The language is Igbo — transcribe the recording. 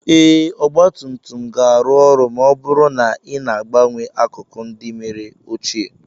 Ee, ọgba tum tum ga-arụ ọrụ ma ọ bụrụ na ị na-agbanwe akụkụ ndị mere ochie